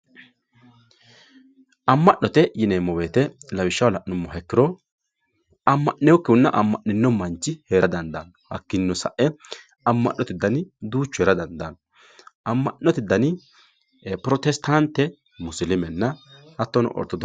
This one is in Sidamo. amma'note yinemmo woyte lawishshaho la'nummo ikkiro amma'nekkihunna amma'ninno manchi heerara dandaanno hakkiinnino sae amma'note dani duuchu heera dandaanno lawishshaho protestante musilimena hattono ortodokise